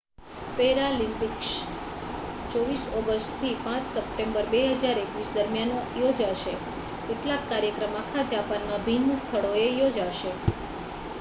Paralympics 24 August થી 5 September 2021 દરમિયાન યોજાશે કેટલાક કાર્યક્રમ આખા જાપાનમાં ભિન્ન સ્થળોએ યોજાશે